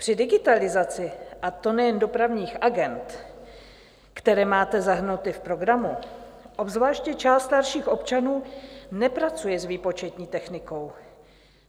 Při digitalizaci, a to nejen dopravních agend, které máte zahrnuty v programu, obzvláště část starších občanů nepracuje s výpočetní technikou.